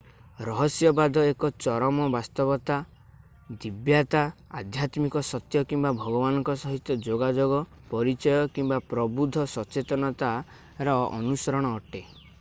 ରହସ୍ୟବାଦ ଏକ ଚରମ ବାସ୍ତବତା ଦିବ୍ୟତା ଆଧ୍ୟାତ୍ମିକ ସତ୍ୟ କିମ୍ବା ଭଗବାନଙ୍କ ସହିତ ଯୋଗାଯୋଗ ପରିଚୟ କିମ୍ବା ପ୍ରବୁଦ୍ଧ ସଚେତନତାର ଅନୁସରଣ ଅଟେ